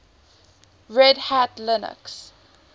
red hat linux